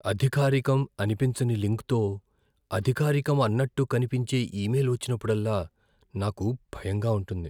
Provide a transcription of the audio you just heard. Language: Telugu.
అధికారికం అనిపించని లింక్తో అధికారికం అన్నట్టు కనిపించే ఈమెయిల్ వచ్చినప్పుడల్లా నాకు భయంగా ఉంటుంది.